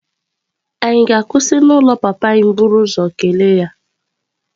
Ànyị ga-akwụsị n'ụlọ papa anyị buru ụzọ kelee ya?